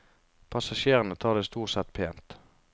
Passasjerene tar det stort sett pent.